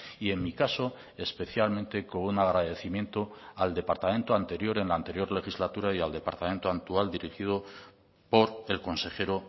y en mi caso especialmente con un agradecimiento al departamento anterior en la anterior legislatura y al departamento actual dirigido por el consejero